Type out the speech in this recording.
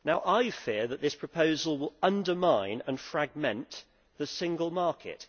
I fear that this proposal will undermine and fragment the single market.